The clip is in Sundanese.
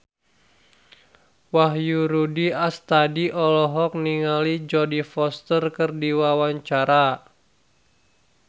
Wahyu Rudi Astadi olohok ningali Jodie Foster keur diwawancara